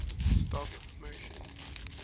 stop motion